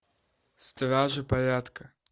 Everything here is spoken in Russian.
стражи порядка